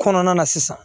Kɔnɔna na sisan